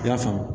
I y'a faamu